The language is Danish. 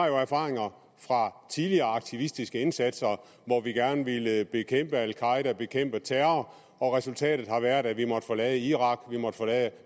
jo har erfaringer fra tidligere aktivistiske indsatser hvor vi gerne ville bekæmpe al qaeda bekæmpe terror og resultatet har været at vi måtte forlade irak og at